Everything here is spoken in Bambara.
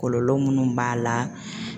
Kɔlɔlɔ minnu b'a la